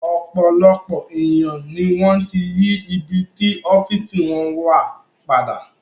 Ọ̀pọ̀lọpọ̀ èèyàn ni wọ́n ti yí ibi tí ọ́fíìsì wọn wà padà